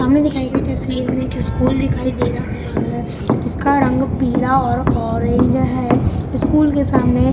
सामने दिखाई गई तस्वीर में एक स्कूल दिखाई दे रहा है इसका रंग पीला और ऑरेंज है स्कूल के सामने --